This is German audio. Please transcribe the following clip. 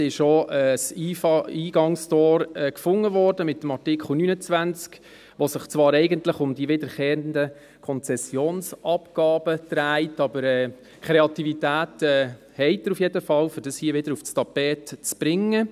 Mit Artikel 29 wurde ein Eingangstor gefunden, das sich zwar eigentlich um die wiederkehrenden Konzessionsabgaben dreht, aber Sie haben jedenfalls die Kreativität, das hier wieder aufs Tapet zu bringen.